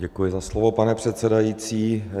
Děkuji za slovo, pane předsedající.